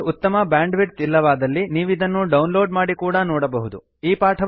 ನಿಮ್ಮಲ್ಲಿ ಉತ್ತಮ ಬ್ಯಾಂಡ್ವಿಡ್ಥ್ ಇಲ್ಲವಾದಲ್ಲಿ ನೀವಿದನ್ನು ಡೌನ್ಲೋಡ್ ಮಾಡಿ ಕೂಡಾ ನೋಡಬಹುದು